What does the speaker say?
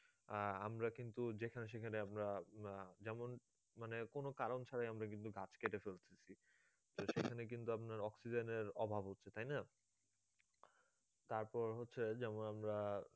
আহ আমরা কিন্তু যেখানে সেখানে আমরা আহ যেমন মানে কোন কারণ ছাড়া আমরা কিন্তু গাছ কেটে ফেলছি সেখানে কিন্তু আপনার oxygen এর অভাব হচ্ছে তাইনা তারপর হচ্ছে যেমন আমরা